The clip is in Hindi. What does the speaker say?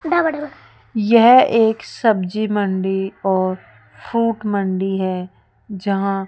यह एक सब्जी मंडी और फ्रूट मंडी है जहाँ --